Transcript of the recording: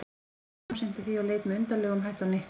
Kamilla samsinnti því og leit með undarlegum hætti á Nikka.